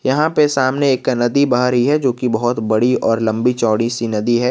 यहां पे सामने एक नदी बह रही है जोकि बहोत बड़ी और लंबी चौड़ी सी नदी है।